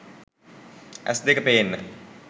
ඇස්‌ දෙක පේන්න